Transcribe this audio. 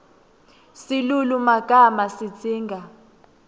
silulumagama sidzinga